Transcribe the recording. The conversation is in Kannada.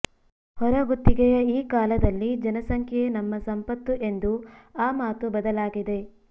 ಹೊರಗುತ್ತಿಗೆಯ ಈ ಕಾಲದಲ್ಲಿ ಜನಸಂಖ್ಯೆಯೇ ನಮ್ಮ ಸಂಪತ್ತು ಎಂದು ಆ ಮಾತು ಬದಲಾಗಿದೆ